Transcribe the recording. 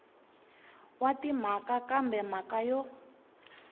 wa timhaka kambe mhaka yo